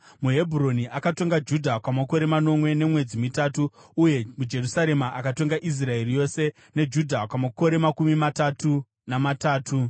MuHebhuroni akatonga Judha kwamakore manomwe nemwedzi mitanhatu, uye muJerusarema akatonga Israeri yose neJudha kwamakore makumi matatu namatatu.